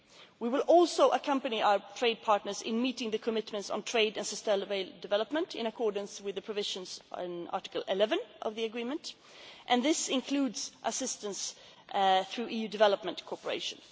of origin. We will also accompany our trade partners in meeting the commitments on trade and sustainable development in accordance with the provisions in Article 11 of the agreement, and this includes assistance through EU development